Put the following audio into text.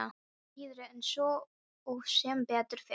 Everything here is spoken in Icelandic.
Síður en svo og sem betur fer.